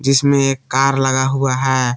इसमें एक कार लगा हुआ है।